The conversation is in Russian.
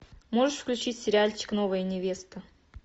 можешь включить сериальчик новая невеста